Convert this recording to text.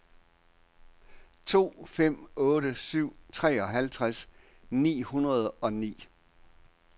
to fem otte syv treoghalvtreds ni hundrede og ni